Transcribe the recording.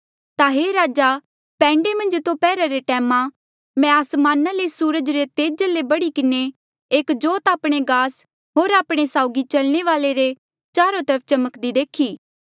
ता हे राजा पैंडे मन्झ दोपहरा रे टैमा मैं आसमाना ले सूरजा रे तेजा ले बढ़ी किन्हें एक जोत आपणे गास होर आपणे साउगी चलणे वाले रे चारो तरफ चमक्दी देखी